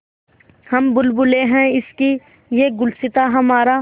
हम बुलबुलें हैं इसकी यह गुलसिताँ हमारा